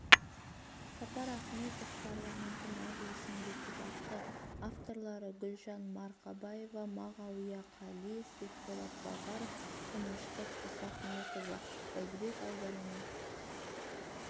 сапар ахметов парламенті мәжілісінің депутаты авторлары гүлжан марқабаева мағауия қалиев бекболат базаров тыныштық исахметова бәйдібек ауданының